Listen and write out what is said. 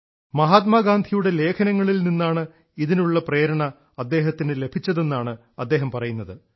മഹാത്മാഗാന്ധിയുടെ ലേഖനങ്ങളിൽ നിന്നാണ് ഇതിനുള്ള പ്രേരണ അദ്ദേഹത്തിന് ലഭിച്ചതെന്നാണ് അദ്ദേഹം പറയുന്നത്